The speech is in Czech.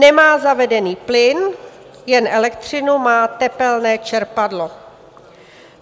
Nemá zavedený plyn, jen elektřinu, má tepelné čerpadlo.